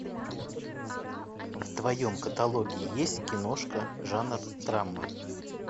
в твоем каталоге есть киношка жанр драма